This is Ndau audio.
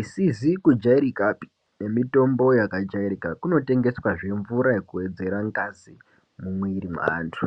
isizi kujairikapi, nemitombo yakajairika. Kunotengeswazve mvura yekuwedzera ngazi mumwiri mweantu.